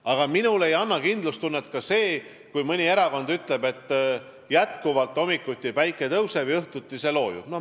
Aga minule ei anna kindlustunnet ka see, kui mõni erakond ütleb, et päike hommikuti jätkuvalt tõuseb ja õhtuti loojub.